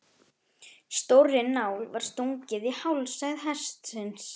Stórri nál var stungið í hálsæð hestsins.